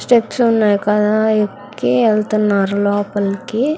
Steps ఉన్నాయి కదా ఎక్కి వెళ్తున్నారు లోపలికి.